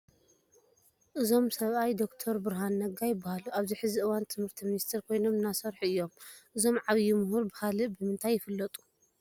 እዞም ሰብኣይ ዶክተር ብርሃኑ ነጋ ይበሃሉ፡፡ ኣብዚ ሕዚ እዋን ትምህርቲ ሚኒስተር ኮይኖም እናሰርሑ እዮም፡፡ እዞም ዓብዪ ምሁር ብኻልእ ብምንታይ ይፍለጡ?